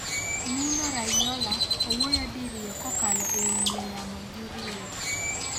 Mino Raiola owuoyo diriyo kokalo e ong'we yamo gi Real